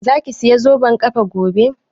Za ki saya zoben ƙafa gobe?